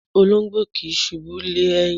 Olóńgbò kì í ṣùbú lé ẹ̀yìn.